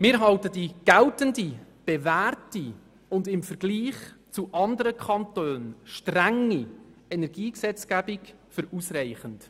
Wir halten die geltende, bewährte und im Vergleich mit anderen Kantonen strenge Energiegesetzgebung für ausreichend.